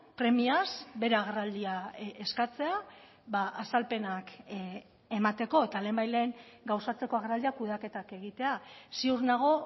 premiaz bere agerraldia eskatzea azalpenak emateko eta lehenbailehen gauzatzeko agerraldia kudeaketak egitea ziur nago